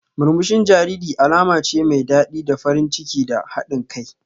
Murmushin jariri alama ce mai daɗi da farin ciki da haɗin kai.